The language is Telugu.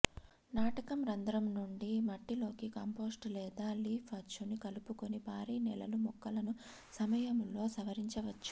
నాటడం రంధ్రం నుండి మట్టిలోకి కంపోస్ట్ లేదా లీఫ్ అచ్చును కలుపుకొని భారీ నేలలు మొక్కలను సమయములో సవరించవచ్చు